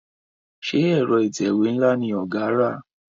Ṣe Ẹ̀rọ ìtẹ̀wé nla ní ọgá rà?